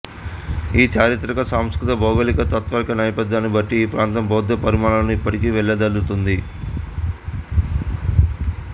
ఈ చారిత్రక సాంస్కృతిక భౌగోళిక తాత్విక నేపథ్యాన్ని బట్టి ఈ ప్రాంతం బౌద్ధ పరిమళాలను ఇప్పటికీ వెదజల్లుతోంది